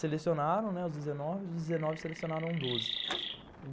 Selecionaram, né, os dezenove e os dezenove selecionaram doze.